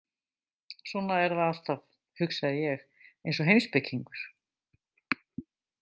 Svona er það alltaf, hugsaði ég eins og heimspekingur.